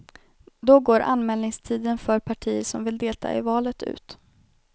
Då går anmälningstiden för partier som vill delta i valet ut.